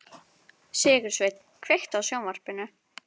Sigursveinn, kveiktu á sjónvarpinu.